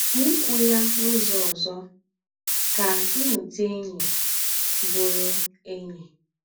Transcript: N’íkwù ya n’ụ́zọ̀ òzọ̀, kà í nùtè ényí, bùrù ényí.